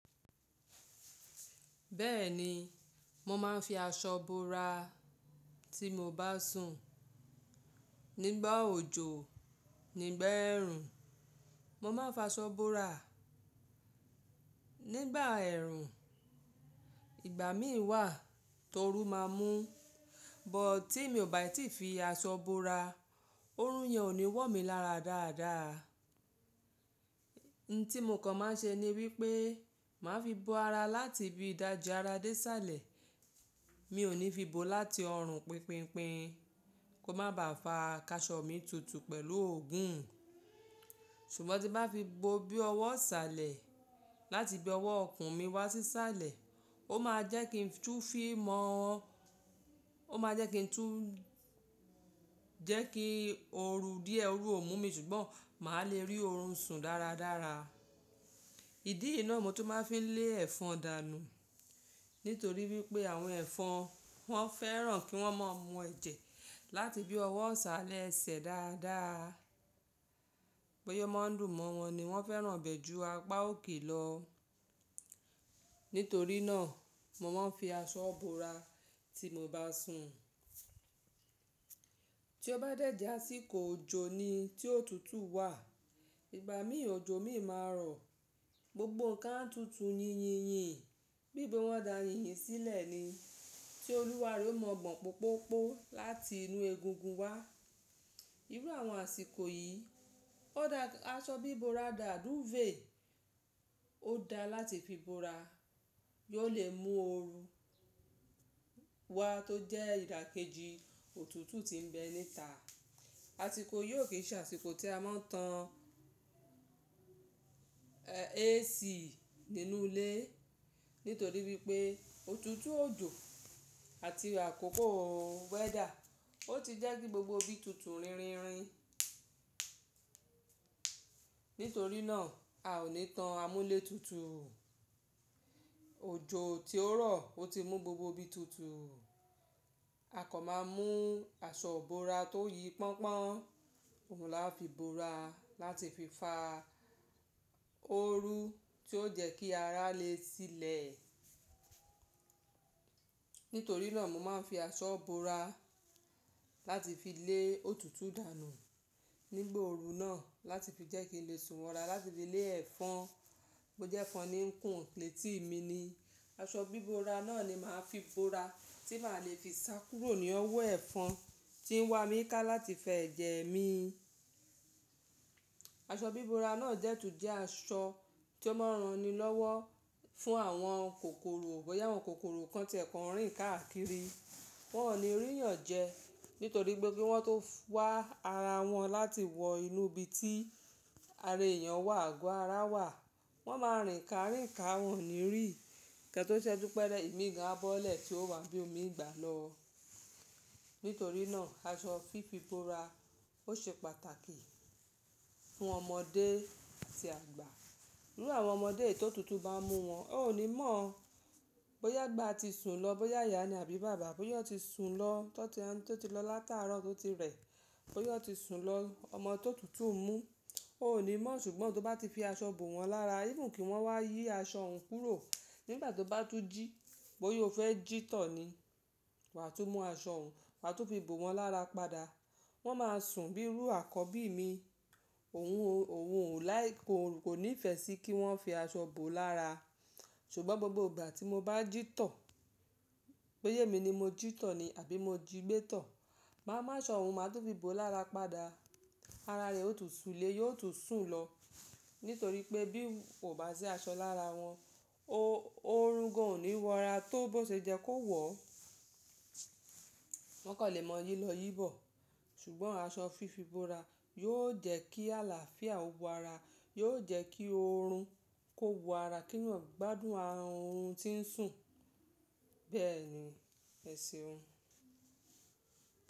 Bẹ́ẹ̀ni, mo máa ń fi aṣọ bora tí mo bá sùn. Nígbà òjò, nígbà ẹ̀rùn, mo máa ń fi aṣọ bora. Nígbà ẹ̀rùn, ìgbà mí wà torú máa mú. But tí mi ò bà tí fi aṣọ bora, orun yẹn ò ní wọ́ mi lára dáadáa. N tí mo kan máa ń ṣe ni wípé, màá fi bo ara láti ibí ìdáji ara dé isálẹ̀. Mi ò ní fi bo láti ọrùn pínpínpín, kó má ba à fa káṣọ̀ mi tutù pẹ̀lú ògùn. Ṣùgbọ́n tí n bá fi bo bí ọwọ́ isálẹ̀, láti ibí ọwọ́ ikùn mi wá sí isálẹ̀, ó máa jẹ́ kí n tú fí mọ́, ó máa jẹ́ kí n tú jẹ́ kí ooru díẹ̀ oorú ò mú mi ṣùgbọ́n màá le rí oorun sùn dáradára. Ìdí yii ná mó tún máa ń fi lé ẹ̀fọn dànù. Nítorí wípé àwọn ẹ̀fọn wọ́n fẹ́ràn kí wọ́n máa mú ẹ̀jẹ̀ láti ibí ọwọ́ isálẹ̀ esẹ̀ dáadáa. Bóyá ó máa ń dùn mọ́ wọn ni wọ́n fẹ́ràn ibẹ̀ jú apá òkè lọ. Nítorí náà, mo máa ń fi aṣọ bora tí mo bá sùn. Tí ó bá dẹ̀ je ásìkò òjò ni tí ótutù wà. Ìgbà míi òjò mií máa rọ̀. Gbogbo nǹkan a tutu yíyìnyín. Bí i pe wọn dà yínyìn sílẹ̀ ni. Tí olúwa rẹ̀ ó mọ̀ gbọ̀n pópópó láti inú egungun wá. Irú àwọn àsìkò yìí, aṣọ bí bora dà dúfèé ó da láti fi bora. Yóò lè mú ooru wa tó jẹ́ ìdàkejì òtútù tí ń bẹ níta. Àsìkò yiò kì n ṣe àsìkò tí a máa ń tan AC nínú ilé. Nítorí wípé òtútù òjò àti àkókò weather ó ti jẹ́ kí gbogbo ibi tutu rínrìnrín. Nítorí náà, a ò ní tan amúlétutù. Òjò tí ó rọ̀ ó ti mú gbogbo ibi tutù. Akan máa mú aṣọ ibora tó yi pọ́ńpọ́n. Òhun la fi bora láti fi fa ooru tí ó jẹ́ kí ara lè sílẹ̀. Nítorí náà, mo máa ń fi aṣọ bora láti fi lé òtútù dànù nígbà ooru náà láti fi jẹ́ kí n lè sùn wọra, láti fi lé ẹ̀fọn. Bo jẹ́ ẹ̀fọn ni ńkún létì mi ni. Aṣọ bí bora náà ni màá fi bora tí màá lè fi sá kúrò ní ọwọ́ ẹ́fọn tí ń wá mi ká láti fa ẹ̀jẹ̀ mi. Aṣọ bí bora náà dẹ́ tùn jẹ́ aṣọ tí ó máa ń ran ni lọ́wọ́ fún àwọn kòkòrò. Bóyá àwọn kòkòrò kan ti ẹ̀ kọnrín káàkiri. Wọn ò ní rí èèyàn jẹ. Nítorí pé bí wọ́n tó wá ara wọn láti wọ inú ibi tí ara èèyàn wà, àgọ́ ara wà, wọ́n máa rìn ká rìn ká, wọ́n ò ní rí. Kẹ́ tó ṣẹ́jú pẹ́rẹ́, ìmi gan á bọ́lẹ̀ tí ó wá ibo mii gbà lọ. Nítorí náà, aṣọ fífí bora ó ṣe pàtàkì fún ọmọdé àti àgbà. Irú àwọn ọmọdé èyi ti òtutu bá n mú wọn, ó ò ní mọ̀. Bóyá agbà ti sùn lọ, bóyá ìyá ni àbí bàbá, bóyá won ti sùn lọ, tó ti lọ látàárọ̀ tó ti rẹ̀. Bóyá won ti sùn lọ ọmọ ti otutu n mú, ó ò ní mọ̀ ṣùgbọ́n tó bá ti fi aṣọ bò wọ́n lára, even kí wọ́n wá yí aṣọ òhun kúrò nígbà tó bá tún jí. Bóyá o fẹ́ jí tọ̀ ni. Wàá tún mú aṣọ òhun, wàá tún fi bò wọ́n lára padà. Wọn máa sùn bí irú àkọbí mi. Òhun ò láì kò nífẹ̀ẹ́ sí kí wọ́n fi aṣọ bò ọ́ lára. Ṣùgbọ́n gbogbo ìgbà tí mo bá jí tọ̀, bóyá èmi ni mo jí tọ̀ ni àbí mo jí gbé tọ̀, màá mú aṣọ òhun, màá tún fi bò ọ lára padà. Ara rẹ̀ ó tún sùn lé, yóò tún sùn lọ. Nítorí pé bí n kò bá sí aṣọ lára wọn, oorun gan ò ní wọ́ra tó bó ṣe jẹ́ kó wọ̀. Wọ́n kan lè mọ yí lọ yí bọ̀. Ṣùgbọ́n aṣọ fífí bora yóò jẹ́ kí àlàáfíà ó wo ara, yóò jẹ́ kí orun kó wo ara, kí eeyan gbádùn oorùn tí ń sùn. Bẹ́ẹ̀ ni èseun.